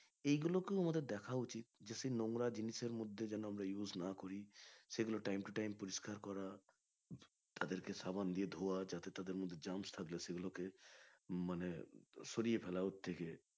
এইগুলো কেও আমাদের দেখা উচিত যাতে এই নোংরা জিনিস এর মধ্যে আমরা যেন আমরা use না করি সেগুলো time to time পরিষ্কার করা সাবান দিয়ে ধোয়া যাতে তাদের মধ্যে germs থাকে সেগুলো কে মানে সরিয়ে ফেলা ওর থেকে